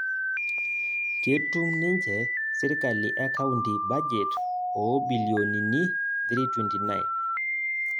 Ketum ninje sirkali e kaunti bajet oo bilionini 329